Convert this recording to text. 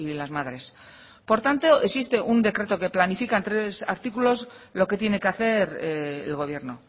las madres por tanto existe un decreto que planifica en tres artículos lo que tiene que hacer el gobierno